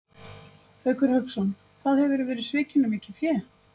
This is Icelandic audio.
Haukur Hauksson: Hvað hefurðu verið svikinn um mikið fé?